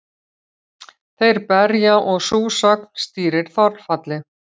Þeir berja og sú sögn stýrir þolfalli.